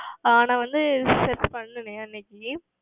ஆஹ் நான் வந்து Search செய்தேன் அன்று